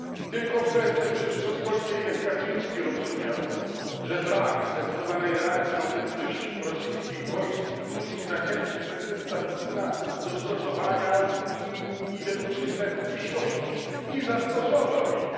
Tylko prezydent Rzeczypospolitej Lech Kaczyński rozumiał, że brak zdecydowanej reakcji na obecność rosyjskich wojsk w Gruzji zachęci prezydenta Putina do stosowania identycznych metod w przyszłości. I prezydent Putin zastosował je.